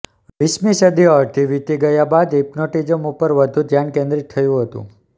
વીસમી સદી અડધી વીતી ગયા બાદ હિપ્નોટીઝમ ઉપર વધુ ધ્યાન કેન્દ્રિત થયું હતું